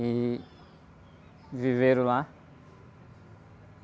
E viveram lá.